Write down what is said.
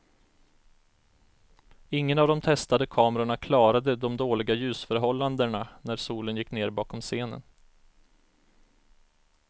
Ingen av de testade kamerorna klarade de dåliga ljusförhållanderna när solen gick ner bakom scenen.